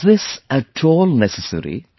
Is this at all necessary